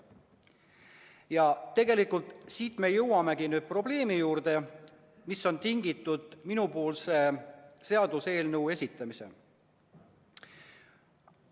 Ja tegelikult siit me jõuamegi probleemi juurde, mis on tinginud minu seaduseelnõu esitamise.